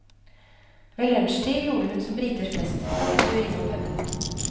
Ved lunsjtid gjorde hun som briter flest, stakk en tur innom puben.